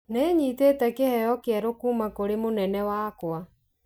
Nĩ nyitĩte kĩheo kĩerũ kũũma kũrĩ mũnene wakwa.